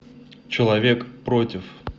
человек против